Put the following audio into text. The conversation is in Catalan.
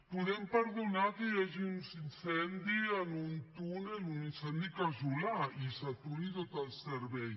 podem perdonar que hi hagi un incendi en un túnel un incendi casolà i s’aturi tot el servei